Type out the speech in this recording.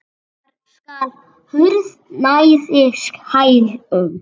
Þar skall hurð nærri hælum.